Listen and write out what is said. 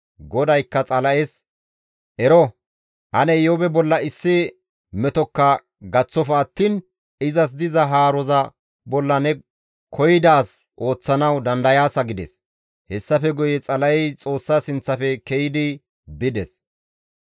GODAYKKA Xala7es, «Ero ane Iyoobe bolla issi metokka gaththofa attiin izas diza haaroza bolla ne koyidaazi ooththanawu dandayaasa» gides. Hessafe guye Xala7ey Xoossa sinththafe ke7idi bides.